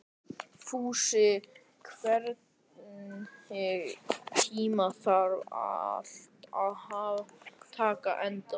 Fúsi, einhvern tímann þarf allt að taka enda.